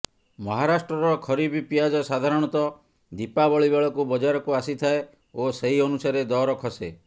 ମହାରାଷ୍ଟ୍ରର ଖରିଫ ପିଆଜ ସାଧାରଣତଃ ଦୀପାବଳି ବେଳକୁ ବଜାରକୁ ଆସିଥାଏ ଓ ସେହି ଅନୁସାରେ ଦର ଖସେ